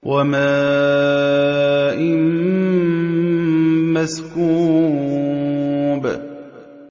وَمَاءٍ مَّسْكُوبٍ